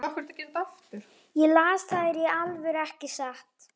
Ég las þær í alvöru, ekki satt?